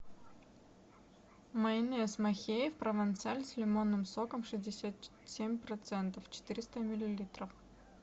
майонез махеев провансаль с лимонным соком шестьдесят семь процентов четыреста миллилитров